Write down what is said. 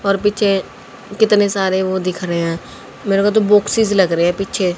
और पीछे कितने सारे वह दिख रहे हैं मेरा मतलब बॉक्स लग रहे है पीछे--